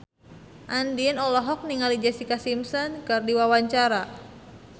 Andien olohok ningali Jessica Simpson keur diwawancara